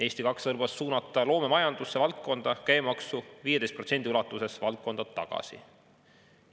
Eesti 200 lubas suunata loomemajanduse valdkonda käibemaksu 15% ulatuses valdkonda tagasi.